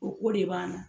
O ko de b'an na